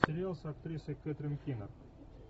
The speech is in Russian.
сериал с актрисой кэтрин кинер